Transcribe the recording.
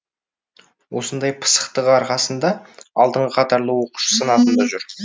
осындай пысықтығы арқасында алдыңғы қатарлы оқушы санатында жүр